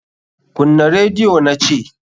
Kunna rediyo na ce!